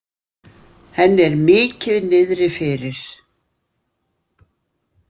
Henni er mikið niðri fyrir.